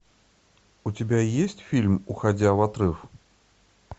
у тебя есть фильм уходя в отрыв